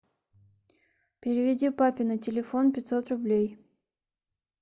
переведи папе на телефон пятьсот рублей